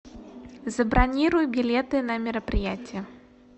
забронируй билеты на мероприятие